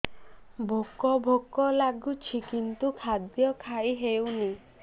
ଭୋକ ଭୋକ ଲାଗୁଛି କିନ୍ତୁ ଖାଦ୍ୟ ଖାଇ ହେଉନି